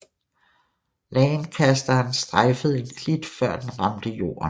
Lancasteren strejfede en klit før den ramte jorden